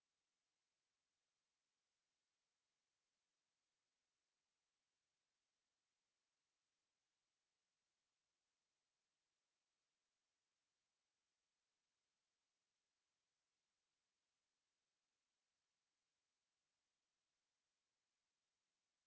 to